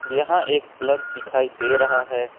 यहां एक प्लग दिखाई दे रहा है।